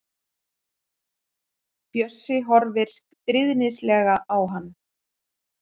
Bjössi horfir stríðnislega á hann.